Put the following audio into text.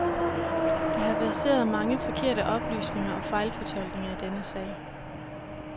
Der har verseret mange forkerte oplysninger og fejlfortolkninger i denne sag.